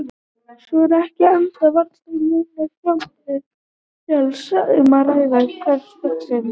Svo er ekki enda varla um neinar hjarnbreiður fjallanna að ræða umhverfis Stokkseyri.